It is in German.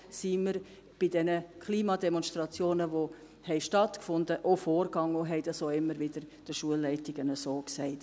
Genau so sind wir bei den Klimademonstrationen, die stattgefunden haben, auch vorgegangen und haben dies den Schulleitungen auch immer wieder so gesagt.